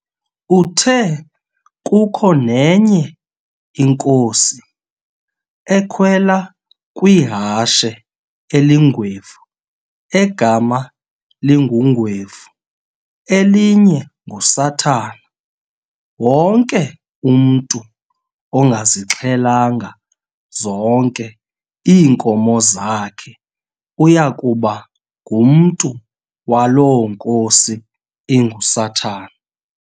Uthe kukho nenye inkosi, ekhwela kwihashe elingwevu, egama linguNgwevu, elinye nguSathana, wonke umntu ongazixhelanga zonke iinkomo zakhe uyakuba ngumntu waloo nkosi inguSathana.